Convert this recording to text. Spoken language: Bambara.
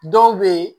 Dɔw bɛ yen